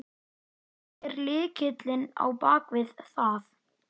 Ameríka að biðja um Þorfinn tilkynnti símastúlkan.